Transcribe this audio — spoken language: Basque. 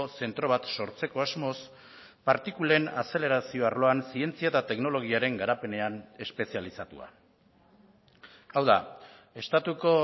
zentro bat sortzeko asmoz partikulen azelerazio arloan zientzia eta teknologiaren garapenean espezializatua hau da estatuko